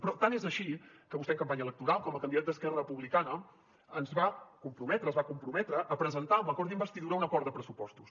i tant és així que vostè en campanya electoral com a candidat d’esquerra republicana es va comprometre a presentar amb l’acord d’investidura un acord de pressupostos